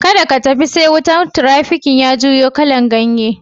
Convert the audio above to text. Kadda ka tafi sai wutan tirafikin ya juyo kalan ganye.